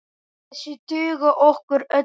Þessir duga okkur öllum.